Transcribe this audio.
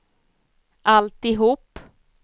alltihop